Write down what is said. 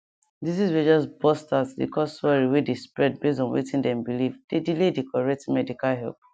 disease way just burst out dey cause worry way dey spread base on wetin dem believe dey delay the correct medical help